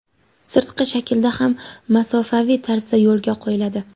sirtqi shaklda hamda masofaviy tarzda yo‘lga qo‘yiladi.